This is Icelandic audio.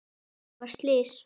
Það varð slys.